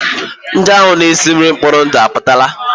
Ndị ahụ na-esi nri n'ụlọ mkpori ndụ apụtala?